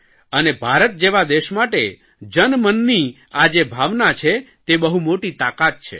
અને ભારત જેવા દેશ માટે જન મનની આ જે ભાવના છે તે બહુ મોટી તાકાત છે